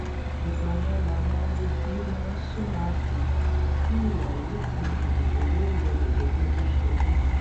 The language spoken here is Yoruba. ìgbà yẹn làwọn olubi máa súnra kí tí ìwà ìrúfin ìdìbò yóò rọlẹ gẹgẹ bó ṣe wí